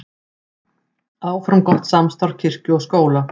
Áfram gott samstarf kirkju og skóla